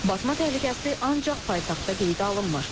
Batma təhlükəsi ancaq paytaxtda qeydə alınmır.